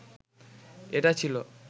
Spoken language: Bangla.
এটা ছিল